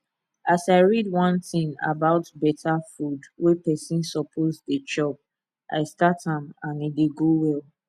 as i read one thing about better food wey person suppose dey chop i start am and e dey go well